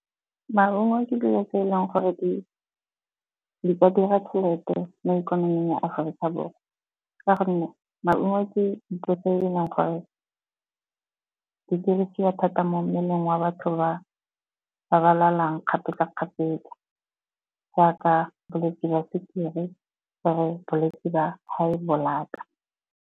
Maungo ke dilo tse eleng gore di ka dira tšhelete mo ikonoming ya Aforika Borwa. Ka gonne maungo ke dilo tse eleng gore di dirisiwa thata mo mmeleng wa batho ba ba lwalang kgapetsa-kgapetsa jaaka bolwetse jwa sukiri , bolwetse ba high blood-a.